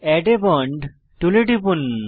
add a bond টুলে টিপুন